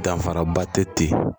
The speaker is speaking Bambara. Danfaraba tɛ ten